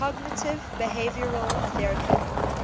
cognitive behavioral therapy